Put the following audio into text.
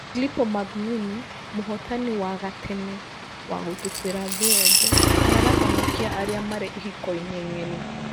Filippo Magnini: mũhotani wa gatene wa gũtubĩra thĩ yothe nĩarahonokia arĩa marĩ ihiko ini ng’eni